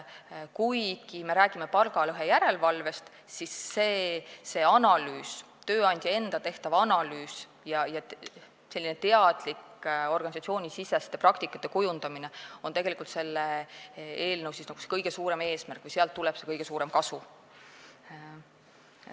Kuigi me räägime palgalõhe järelevalvest, siis see tööandja enda tehtav analüüs ja teadlik organisatsioonisiseste praktikate kujundamine on tegelikult selle eelnõu kõige suurem eesmärk või sealt tuleb see kõige suurem kasu.